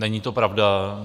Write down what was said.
Není to pravda.